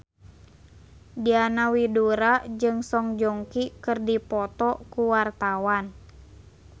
Diana Widoera jeung Song Joong Ki keur dipoto ku wartawan